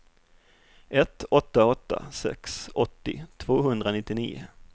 ett åtta åtta sex åttio tvåhundranittionio